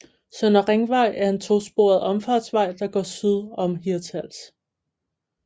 Søndre Ringvej er en to sporet omfartsvej der går syd om Hirtshals